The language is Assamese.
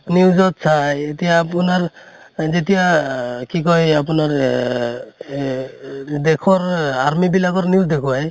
news ত চাই । এতিয়া আপোনাৰ যেতিয়া আহ কি কয়, আপোনাৰ এহ এ ই দেশৰ এ army বিলাকৰ news দেখোৱাই